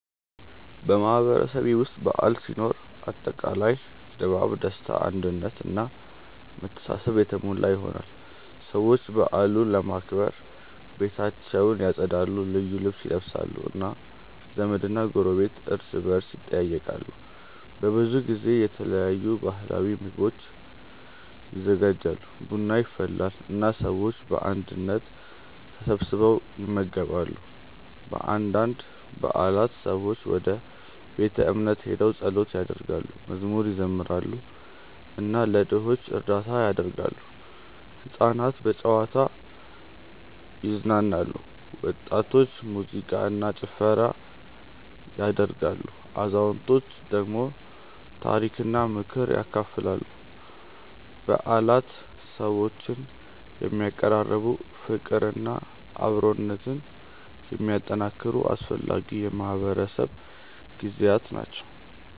በማህበረሰቤ ውስጥ በዓል ሲኖር አጠቃላይ ድባቡ ደስታ አንድነት እና መተሳሰብ የተሞላ ይሆናል። ሰዎች በዓሉን ለማክበር ቤታቸውን ያጸዳሉ፣ ልዩ ልብስ ይለብሳሉ እና ዘመድና ጎረቤት እርስ በርስ ይጠያየቃሉ። በብዙ ጊዜ የተለያዩ ባህላዊ ምግቦች ይዘጋጃሉ፣ ቡና ይፈላል እና ሰዎች በአንድነት ተሰብስበው ይመገባሉ። በአንዳንድ በዓላት ሰዎች ወደ ቤተ እምነት ሄደው ጸሎት ያደርጋሉ፣ መዝሙር ይዘምራሉ እና ለድሆች እርዳታ ያደርጋሉ። ሕፃናት በጨዋታ ይዝናናሉ፣ ወጣቶች ሙዚቃ እና ጭፈራ ያደርጋሉ፣ አዛውንቶች ደግሞ ታሪክና ምክር ያካፍላሉ። በዓላት ሰዎችን የሚያቀራርቡ፣ ፍቅርና አብሮነትን የሚያጠናክሩ አስፈላጊ የማህበረሰብ ጊዜያት ናቸው።